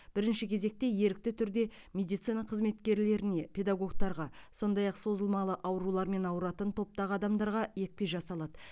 бірінші кезекте ерікті түрде медицина қызметкерлеріне педагогтарға сондай ақ созылмалы аурулармен ауыратын топтағы адамдарға екпе жасалады